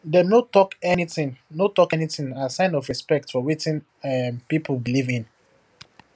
dem no talk anything no talk anything as sign of respect for wetin um people believe in